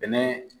Bɛnɛ